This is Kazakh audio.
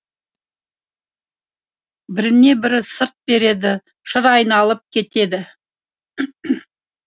біріне бірі сырт береді шыр айналып кетеді